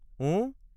ওঁ ?